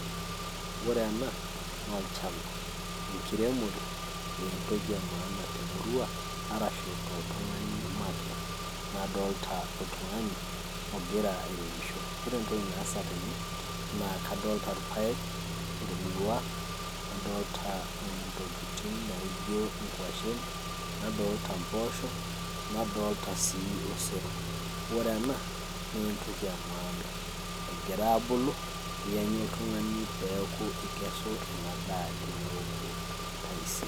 Ore ena, naa olchamba. Enkiremore entoki emaana temurua, arashu toltung'ani makeon. Nadolta oltung'ani, ogira airemisho. Ore entoki naasa tene, naa kadolta paek, ormiwa, nadolta intokiting' naijo inkwashen, nadolta mpoosho, nadolta si osero. Ore ena, naa entoki emaana. Egira abulu, yanyu oltung'ani peeku ikesu endaa teneoku taisere.